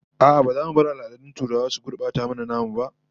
A'a, ba za mu bar al'adun turawa su gurbata mana namu ba